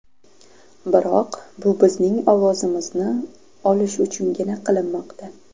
Biroq bu bizning ovozimizni olish uchungina qilinmoqda.